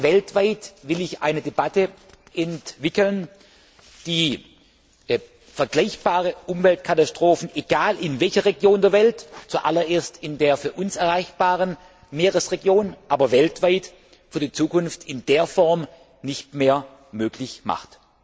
Weltweit will ich eine Debatte entwickeln, die vergleichbare Umweltkatastrophen egal in welcher Region der Welt, zuallererst in der für uns erreichbaren Meeresregion, aber in Zukunft weltweit in der Form nicht mehr möglich macht.